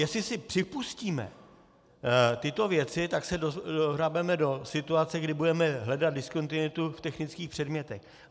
Jestli si připustíme tyto věci, tak se dohrabeme do situace, kdy budeme hledat diskontinuitu v technických předmětech.